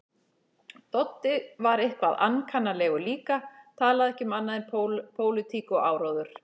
Doddi var eitthvað ankannalegur líka, talaði ekki um annað en pólitík og áróður.